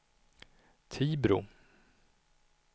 Tibro